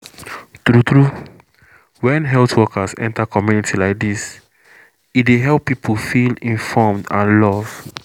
true true when health workers enter community like this e dey help people feel inform and love